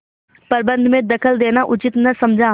प्रबंध में दखल देना उचित न समझा